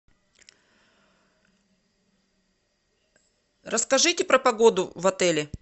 расскажите про погоду в отеле